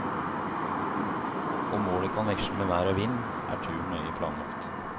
Om målet kan veksle med vær og vind, er turen nøye planlagt.